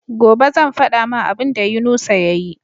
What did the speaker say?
Gobe zan fada ma abun da yunusa yayi